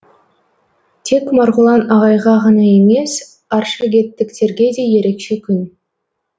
тек марғұлан ағайға ғана емес аршагеттіктерге де ерекше күн